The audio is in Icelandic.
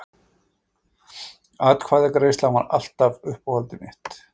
Atkvæðagreiðslan var alltaf uppáhaldið mitt.